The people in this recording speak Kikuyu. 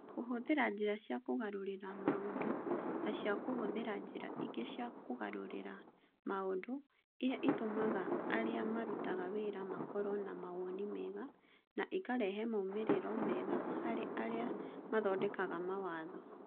Kũhũthĩra njĩra cia kũgarũrĩra maũndũ na cia kũhũthĩra njĩra ingĩ cia kũgarũrĩra maũndũ, iria itũmaga arĩa marutaga wĩra makorũo na mawoni mega, na ikarehe moimĩrĩro mega harĩ arĩa mathondekaga mawatho